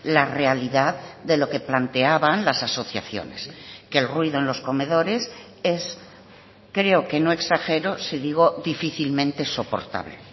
la realidad de lo que planteaban las asociaciones que el ruido en los comedores es creo que no exagero si digo difícilmente soportable